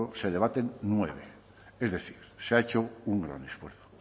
se debaten nueve es decir se ha hecho un gran esfuerzo